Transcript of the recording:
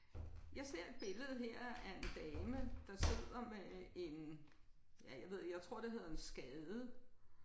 Jeg ser et billede her af en dame der sidder med en ja jeg ved ikke jeg tror det hedder en skade